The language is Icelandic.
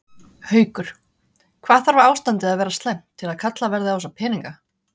Haukur: Hvað þarf ástandið að vera slæmt til að kallað verði á þessa peninga?